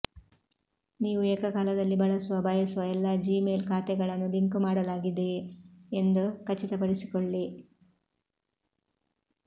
ನೀವು ಏಕಕಾಲದಲ್ಲಿ ಬಳಸಲು ಬಯಸುವ ಎಲ್ಲ ಜಿಮೇಲ್ ಖಾತೆಗಳನ್ನು ಲಿಂಕ್ ಮಾಡಲಾಗಿದೆಯೆ ಎಂದು ಖಚಿತಪಡಿಸಿಕೊಳ್ಳಿ